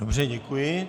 Dobře, děkuji.